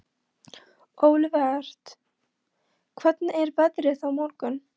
Olivert, hvernig er veðrið á morgun?